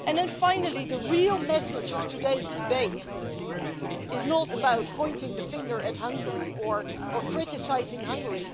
And then, finally, the real message of today's debate is not about pointing the finger at Hungary or criticising Hungary.